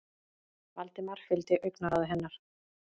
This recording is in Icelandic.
Valdimar fylgdi augnaráði hennar.